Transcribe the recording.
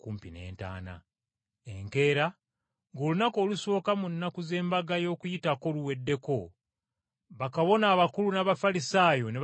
Enkeera, ng’olunaku olusooka mu nnaku z’Embaga y’Okuyitako luweddeko, bakabona abakulu n’Abafalisaayo ne bagenda eri Piraato,